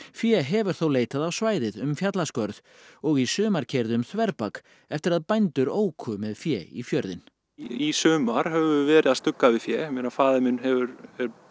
fé hefur þó leitað á svæðið um fjallaskörð og í sumar keyrði um þverbak eftir að bændur óku með fé í fjörðinn í sumar höfum við verið að stugga við fé faðir minn er